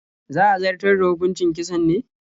Za a zartar da hukucin kisan ne?